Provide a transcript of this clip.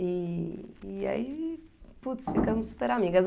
E e aí, putz, ficamos super amigas.